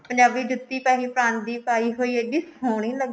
ਪੰਜਾਬੀ ਜੁੱਤੀ ਪਰਾਂਦੀ ਪਾਈ ਹੋਈ ਇੰਨੀ ਸੋਹਣੀ ਲੱਗੇ